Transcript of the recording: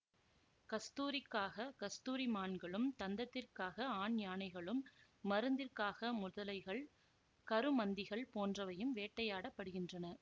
கஸ்தூரிக்காக கஸ்தூரி மான்களும்தந்தத்திற்காக ஆண் யானைகளும் மருந்திற்காக முதலைகள் கருமந்திகள் போன்றவையும் வேட்டையாடபபடுகின்றன